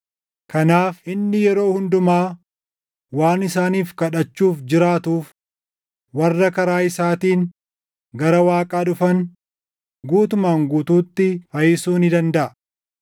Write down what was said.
Kanaaf inni yeroo hundumaa waan isaaniif kadhachuuf jiraatuuf warra karaa isaatiin gara Waaqaa dhufan guutumaan guutuutti fayyisuu ni dandaʼa.